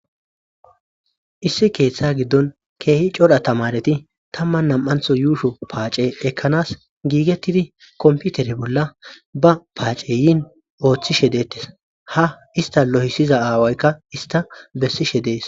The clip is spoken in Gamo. Issi keeththa giddon keehi codha tamareti tamman nam'antho yuusho paace ekkanas giigettidi komputere bolla ba paace yiin ooththishe deettes ha ista lohisiza aawaykka ista bessishe dees.